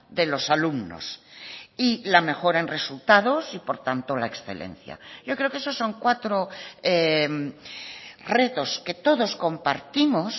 de los alumnos y la mejora en resultados y por tanto la excelencia yo creo que esos son cuatro retos que todos compartimos